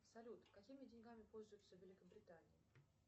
салют какими деньгами пользуются в великобритании